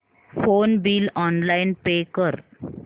phone bill online pay कर